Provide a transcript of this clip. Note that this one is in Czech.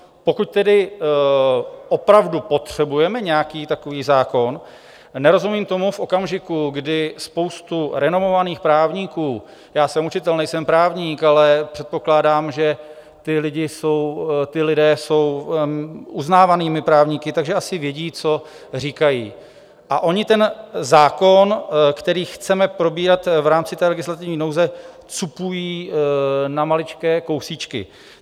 Pokud tedy opravdu potřebujeme nějaký takový zákon, nerozumím tomu v okamžiku, kdy spousta renomovaných právníků - já jsem učitel, nejsem právník, ale předpokládám, že ti lidé jsou uznávanými právníky, takže asi vědí, co říkají, a oni ten zákon, který chceme probírat v rámci té legislativní nouze, cupují na maličké kousíčky.